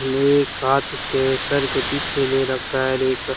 ने एक हाथ उसके सर के पीछे ले रखा है र एक--